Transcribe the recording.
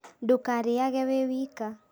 Ndũkarĩage wĩ wika